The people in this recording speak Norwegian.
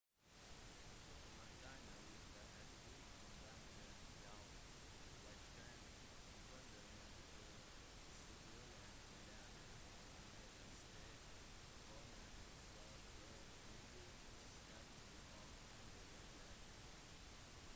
dokumentene viste at 14 banker hjalp velstående kunder med å skjule milliarder av amerikanske kroner for å unngå skatter og andre regler